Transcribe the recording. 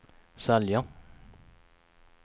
sälja